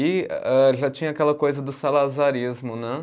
E eh, já tinha aquela coisa do salazarismo, né?